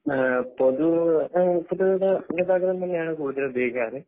ആഹ് പൊതു ആഹ് പൊതുഗതാഗതം തന്നെയാണ് കൂടുതൽ ഉപയോഗികാർ